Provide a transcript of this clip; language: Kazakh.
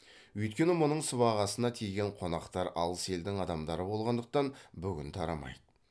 өйткені мұның сыбағасына тиген қонақтар алыс елдің адамдары болғандықтан бүгін тарамайды